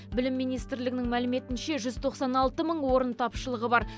білім министрлігінің мәліметінше жүз тоқсан алты мың орын тапшылығы бар